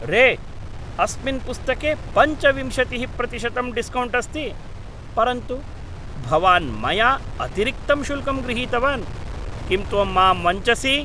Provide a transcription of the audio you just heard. रे, अस्मिन् पुस्तके पञ्चविंशतिः प्रतिशतं डिस्कौण्ट् अस्ति, परन्तु भवान् मया अतिरिक्तं शुल्कं गृहीतवान्, किं त्वं मां वञ्चसि?